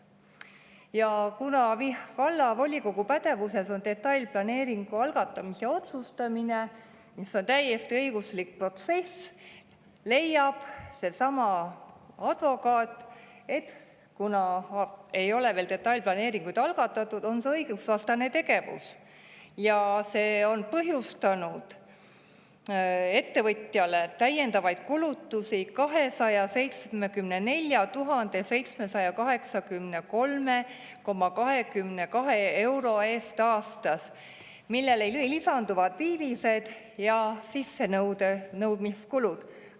Ja kuna vallavolikogu pädevuses on detailplaneeringu algatamise otsustamine, mis on täiesti õiguslik protsess, leiab seesama advokaat, et kuna ei ole veel detailplaneeringuid algatatud, on see õigusvastane tegevus ja see on põhjustanud ettevõtjale täiendavaid kulutusi 274 783,22 euro eest aastas, millele lisanduvad viivised ja sissenõudmiskulud.